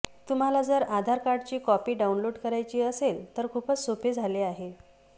तुम्हाला जर आधार कार्डची कॉपी डाउनलोड करायची असेल तर खूपच सोपे झाले आहे